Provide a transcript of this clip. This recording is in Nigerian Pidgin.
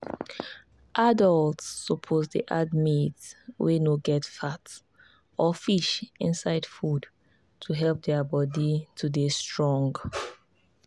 adults suppose dey add meat wey no get fat or fish inside food to help their body to dey strong.